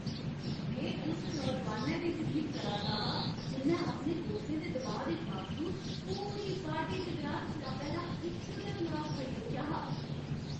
में उस नौजोआनै दी तरीफ करा 'रदा हा जि'न्नै अपने दोस्तें दे दबाऽ दे बावजूद पूरी पार्टी दे दुरान शराबै दा इक गै ग्लास फड़ी रक्खेआ हा।